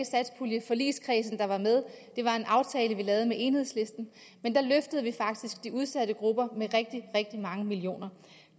satspuljeforligskredsen der var med det var en aftale vi lavede med enhedslisten men da løftede vi faktisk de udsatte grupper med rigtig rigtig mange millioner